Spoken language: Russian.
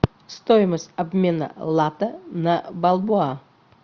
стоимость обмена лата на бальбоа